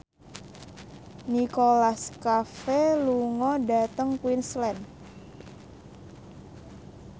Nicholas Cafe lunga dhateng Queensland